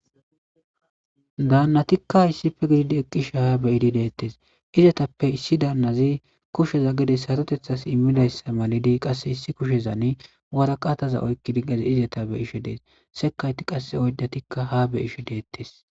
daannatikka issife gididi eqqishe haa beyidi deettes izatappe issi daannazi kusheza gedes hatotethas immidayssa malidi qasse issi kushezani waraqataza oykki diggazi izeta be ishe dees sekayti qasse oyddatikka ha be ishe deettes